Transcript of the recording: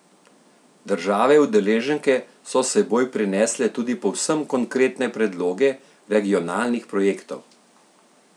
Države udeleženke so s seboj prinesle tudi povsem konkretne predloge regionalnih projektov?